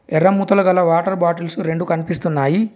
ఎర్ర మూతలు గల వాటర్ బాటిల్సు రెండు కన్పిస్తున్నాయి.